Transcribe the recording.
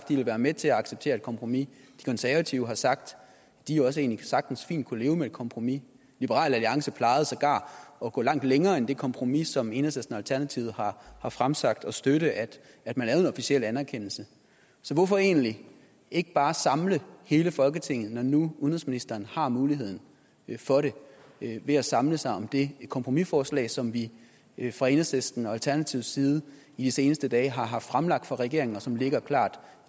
de vil være med til at acceptere et kompromis de konservative har sagt at de sagtens ville kunne leve fint med et kompromis liberal alliance plejede sågar at gå langt længere end det kompromis som enhedslisten og alternativet har fremsat og støtte at at man lavede en officiel anerkendelse så hvorfor egentlig ikke bare samle hele folketinget når nu udenrigsministeren har muligheden for det ved at samle sig om det kompromisforslag som vi vi fra enhedslisten og alternativets side i de seneste dage har haft fremlagt for regeringen og som ligger klart